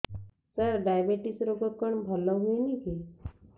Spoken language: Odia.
ସାର ଡାଏବେଟିସ ରୋଗ କଣ ଭଲ ହୁଏନି କି